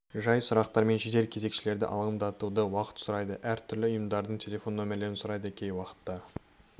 ғана сұрақтармен жедел кезекшілерді алаңдатады уақыт сұрайды әр түрлі ұйымдардың телефон нөмерлерін сұрайды кей уақытта